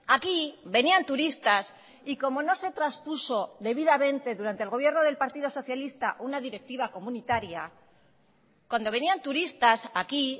aquí venían turistas y como no se traspuso debidamente durante el gobierno del partido socialista una directiva comunitaria cuando venían turistas aquí